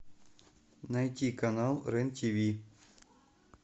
найди канал рен ти ви